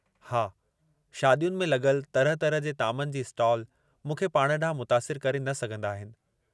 हा, शादियुनि में लॻलु तरह तरह जे तामनि जी स्टाल मूंखे पाण ॾांहुं मुतासिर करे न सघंदा आहिनि।